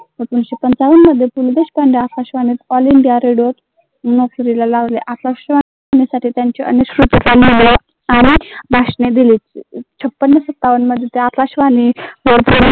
एकोणविसशे पंचावन मध्ये पु ल देशपांडे भाषणे दिली आकाशवाणी